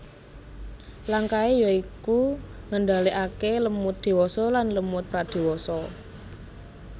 Langkahé ya iku ngendhalèkaké lemut dewasa lan lemut pradewasa